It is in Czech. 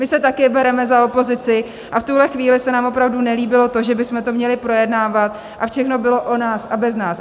My se také bereme za opozici a v tuhle chvíli se nám opravdu nelíbilo to, že bychom to měli projednávat a všechno bylo o nás a bez nás.